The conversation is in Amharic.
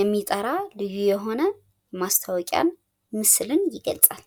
የሚጠራ ልዩ የሆነ ማስታወቂያን ምስልን ይገልፃል።